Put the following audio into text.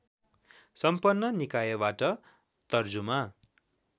सम्पन्न निकायबाट तर्जुमा